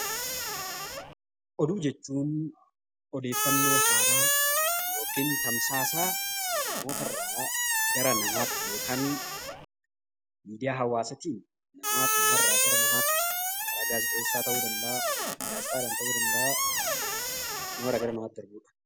Oduu jechuun odeeffannoo haaraa yookiin tamsaasa namootarraa gara namaatti yookaan miidiyaa hawaasaatiin namarraa gara namatti karaa gaazexeessaa ta'uu danda'a. Gaazexaadhan ta'uu danda'a. Namarraa gara namaatti erguudha.